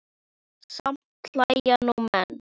Samt hlæja nú menn.